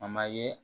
A ma ye